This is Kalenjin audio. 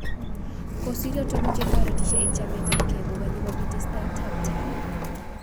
kusiryo tugul che toretisyei eng chametapgei ko Kanye kobit tesetab taai